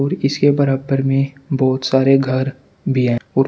इसके बरबर में बहोत सारे घर भी है और--